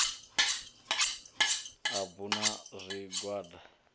u bu a na zwigwada